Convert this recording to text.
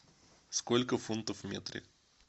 сколько фунтов в метре